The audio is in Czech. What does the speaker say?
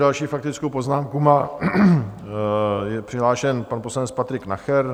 Další faktickou poznámku má, je přihlášen, pan poslanec Patrik Nacher.